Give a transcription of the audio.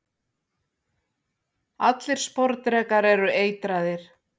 allir sporðdrekar eru eitraðir